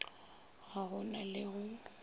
ga go na le go